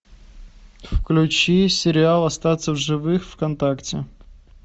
включи сериал остаться в живых вконтакте